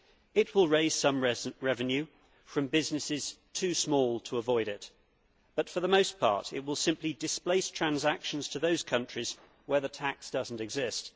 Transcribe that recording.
It will raise some revenue from businesses too small to avoid it but, for the most part, it will simply displace transactions to those countries where the tax does not exist.